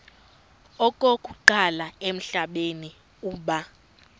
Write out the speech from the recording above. okokuqala emhlabeni uba